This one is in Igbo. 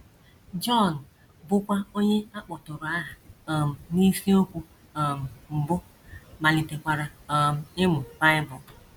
John, bụ́kwa onye a kpọtụrụ aha um n’isiokwu um mbụ, malitekwara um ịmụ Bible.